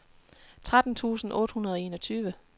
tretten tusind otte hundrede og enogtyve